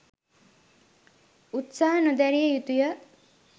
උත්සහ නොදැරිය යුතුයි.